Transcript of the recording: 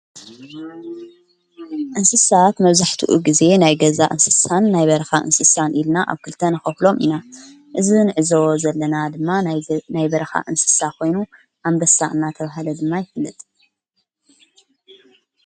እንስሳት መብዙሕቲኡ ጊዜ ናይ ገዛ እንስሳን ናይ በርኻ እንስሳን ኢልና ኣብ ክልተ ንኸፍሎም ኢና እዝ ንእዘቦዎ ዘለና ድማ ናይ በረኻ እንስሳ ኾይኑ ኣምበሳ እናተበሃለ ድማ ይፍልጥ።